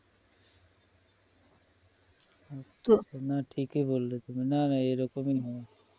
না ঠিকই বললে তুমি না না এরকমই হয়